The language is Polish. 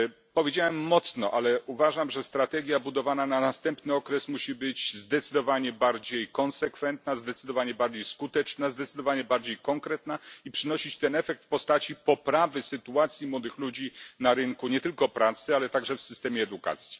To mocne słowa, ale uważam, że strategia budowana na następny okres musi być zdecydowanie bardziej konsekwentna, zdecydowanie bardziej skuteczna, zdecydowanie bardziej konkretna i przynosić efekt w postaci poprawy sytuacji młodych ludzi na rynku nie tylko pracy, ale także w systemie edukacji.